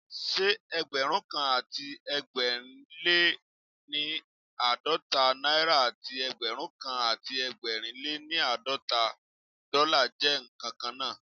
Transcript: Ṣé Ẹgbẹ̀rúnkan àti ẹgbẹ̀rin lé ní àádọ́ta náírà àti Ẹgbẹ̀rúnkan àti ẹgbẹ̀rin lé ní àádọ́ta dọ́là jẹ́ ǹkan kan náà?